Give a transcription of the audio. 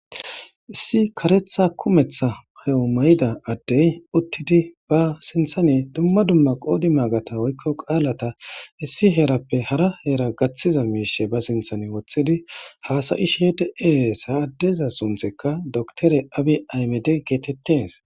issi karetha kumetha mayo may7ida addey uttidi ba sinthane dumma dumma qoodi maagata woykko qaalata issi heerappe hara heera gaththiza miishe ba sinthan woththidi haasayi sheede ees ha addeza sunthekka doktore abi aymede geetettes